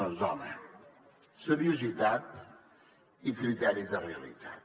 doncs home seriositat i criteri de realitat